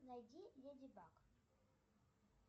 найди леди баг